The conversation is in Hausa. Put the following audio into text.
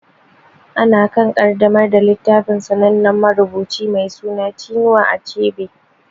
Ana kan ƙaddamar da littafin sanannen marubuci mai suna Chinua Achebe.